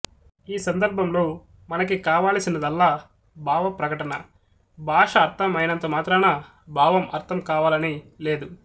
ఈ సందర్భంలో మనకి కావలసినదల్లా భావ ప్రకటన భాష అర్థం అయినంత మాత్రాన భావం అర్థం అవాలని లేదు